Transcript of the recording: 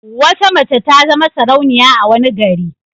Wata mace ta zama sarauniya a wani gari.